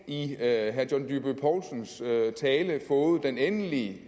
i herre john dyrby paulsens tale fået den endelige